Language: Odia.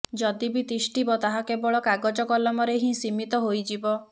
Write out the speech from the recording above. ଯଦି ବି ତିଷ୍ଠିବ ତାହା କେବଳ କାଗଜ କଲମରେ ହିଁ ସିମୀତ ହୋଇଯିବ